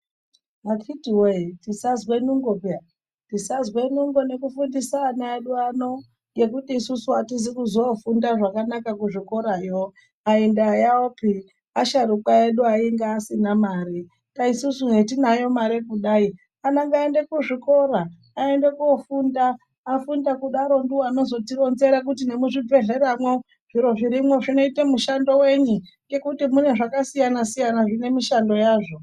Akiti woyee tisazwe nungo peya tizazwe nungo nekufundisa ana edu ano ngekuti isusu hatizi kuzoofunda zvakanaka kuzvikorayo aindaayaopi asharukwa edu ainga asina mare saka isusu hetinayo mari kudai ana ngaaende kuzvikora aende kofunda afunda kudaro ndiwo anozotironzera kuti nemuzvidbhleramwo zviro zvirimwo zvinoita mushando wenyi ngekuti mune zvakasiyana siyana zvine mishando yazvo.